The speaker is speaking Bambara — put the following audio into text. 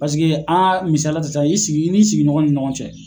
Paseke a misaliya ta sa i sigi i nin sigiɲɔngɔn ni ɲɔgɔn cɛ.